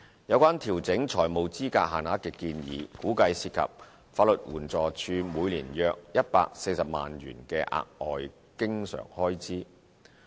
有關調整財務資格限額的建議，估計涉及法律援助署每年約140萬元的額外經常開支。